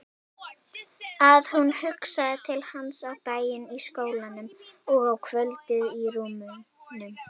Að hún hugsaði til hans á daginn í skólanum og á kvöldin í rúminu.